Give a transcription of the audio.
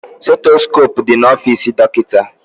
Stetoskope dị na ofisi dọkịta